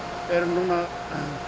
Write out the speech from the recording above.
erum núna